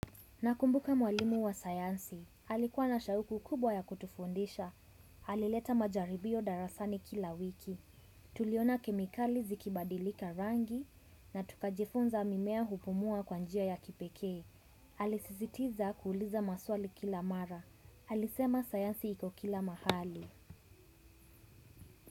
Nakumbuka mwalimu wa sayansi. Alikuwa na shauku kubwa ya kutufundisha. Alileta majaribio darasani kila wiki. Tuliona kemikali zikibadilika rangi na tukajifunza mimea hupumua kwa njia ya kipekee alisisitiza kuuliza maswali kila mara. Alisema sayansi iko kila mahali.